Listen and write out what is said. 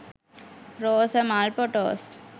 rosa mal photos